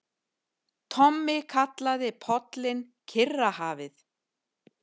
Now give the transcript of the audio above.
Tommi kallaði pollinn Kyrrahafið.